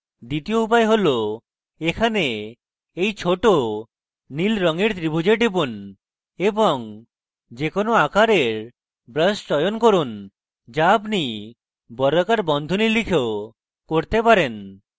দ্বিতীয় উপায় হল এখানে এই ছোট নীল রঙের ত্রিভুজে টিপুন এবং যে কোনো আকারের brush চয়ন করুন যা আপনি বর্গাকার বন্ধনী লিখেও করতে পারেন